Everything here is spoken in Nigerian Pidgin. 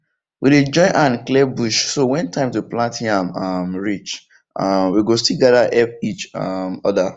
we dey join hand clear bush so when time to plant yam um reach um we go still gather help each um other